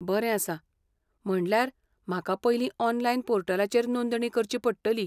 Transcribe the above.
बरें आसा! म्हणल्यार म्हाका पयलीं ऑनलायन पोर्टलाचेर नोंदणी करची पडटली.